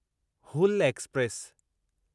Hul express